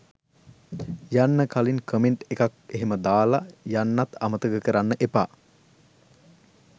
යන්න කලින් කමෙන්ට් එකක් එහෙම දාලා යන්නත් අමතක කරන්න එපා.